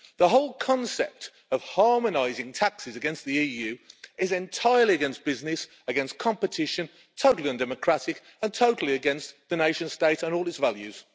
The whole concept of harmonising taxes across the EU is entirely against business, against competition, totally undemocratic and totally against the nation state and all its values.